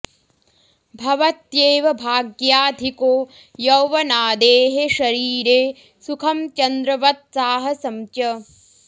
भवत्येव भाग्याधिको यौवनादेः शरीरे सुखं चन्द्रवत् साहसं च